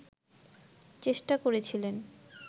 চেষ্টা করেছিলেন